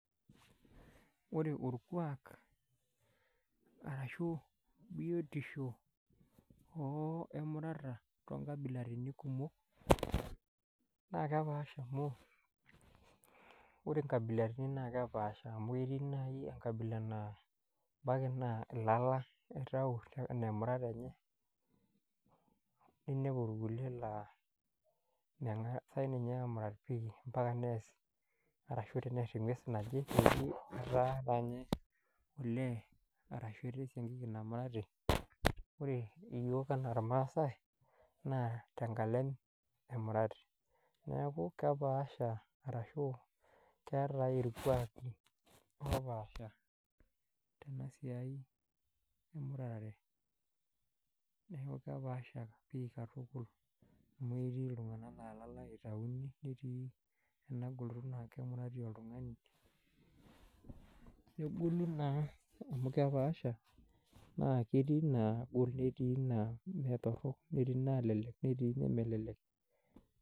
Wore orkuak arashu bietisho oo emurata toonkabilarini kumok, naa kepaasha amu, wore inkabilaritin naa kepaasha amu etii naai enkabila naa ebaiki naa ila itayu enaa emurata enye, niniapu irkulie laa mengasai ninche aamurat pii ambaka neas arashu tenearr engwes naje, peeji etaa taanye olee , arashu etaa esiankiki namurati. Wore iyiok enaa ilmaasae, naa tenkalem emurati. Neeku kepaasha arashu, keetae irkuaki opaasha tena siai emuratare. Neeku kepaasha pii katukul, amu etii iltunganak naa ilala ake itauni, neetii ena goloto naa kemurati oltungani. Negolu naa amu kepaasha, naa ketii inaagol netii naa meetorok, netii inaalelek netii inemelelek.